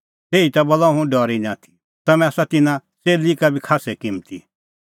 तैही बोला हुंह डरी निं आथी तम्हैं आसा तिन्नां च़ेल्ली का खास्सै किम्मती